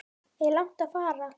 Er langt að fara?